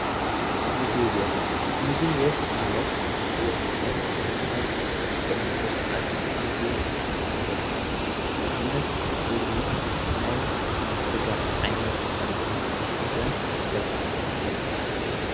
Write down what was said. ምግቢቤት ምግቢቤት ማለት ወድ ሰብ ኣብ ዝጠሜየሉ ሰዓት ኣትዩ ዝምገበሉ እዩ ንኣብነት እዙይ ናይ ንሥጋ ዓይነት ምግቢ ዝኃዘ ገዛ እዩ።